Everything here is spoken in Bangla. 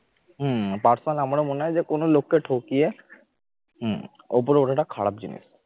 হম personal আমারও মনে হয় যে কোন লোককে ঠকিয়ে হম ওপরে ওঠাটা খারাপ জিনিস